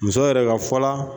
Muso yɛrɛ ka fɔla